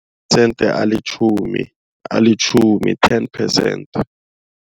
alitjhumi, alitjhumi ten percent.